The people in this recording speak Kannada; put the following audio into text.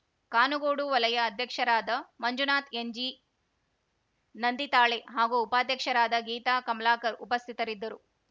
ಕಾನುಗೋಡು ವಲಯ ಅಧ್ಯಕ್ಷರಾದ ಮಂಜುನಾಥ್‌ಎನ್‌ಜಿ ನಂದಿತಾಳೆ ಹಾಗೂ ಉಪಾಧ್ಯಕ್ಷರಾದ ಗೀತಾ ಕಮಲಾಕರ್‌ ಉಪಸ್ಥಿತರಿದ್ದರು